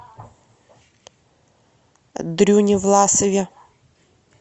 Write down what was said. дрюне власове